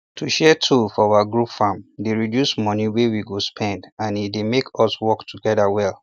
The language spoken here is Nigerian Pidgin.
to share tool for our group farm dey reduce money wey we go spend and e dey make us work together well